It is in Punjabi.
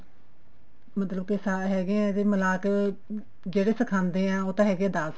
ਮਤਲਬ ਹੈਗੇ ਆਂ ਮਿਲਾਕੇ ਜਿਹੜੇ ਸਿਖਾਉਂਦੇ ਆਂ ਉਹ ਤਾਂ ਹੈਗੇ ਆਂ ਦਸ